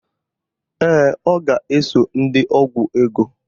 Ee, ọ ga-eso ndị ọgwụ ego